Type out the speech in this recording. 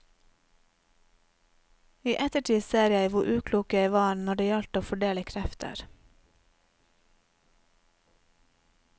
I ettertid ser jeg hvor uklok jeg var når det gjaldt å fordele krefter.